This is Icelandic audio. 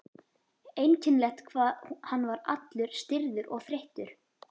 Einkennilegt hvað hann var allur stirður og þreyttur.